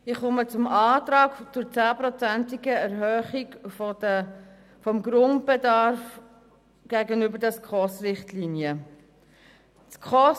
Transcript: Ich komme zum Antrag auf Erhöhung des Grundbedarfs der SKOS-Richtlinien um 10 Prozent.